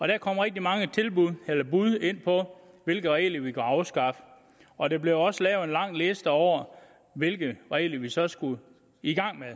der kom rigtig mange bud på hvilke regler vi kunne afskaffe og der blev også lavet en lang liste over hvilke regler vi så skulle i gang med at